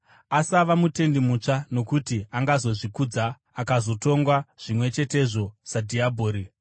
Asava mutendi mutsva, nokuti angazozvikudza akazotongwa zvimwe chetezvo sadhiabhori.